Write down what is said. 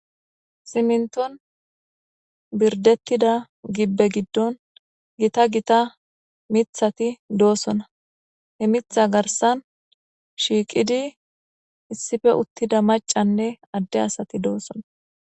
Siminton birdetida gibe gidon gitta gitta mithati de'osona he mitha garsan shiqidi issippe uttida macanne ade asati dosona